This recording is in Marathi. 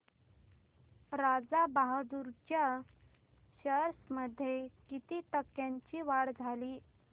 राजा बहादूर च्या शेअर्स मध्ये किती टक्क्यांची वाढ झाली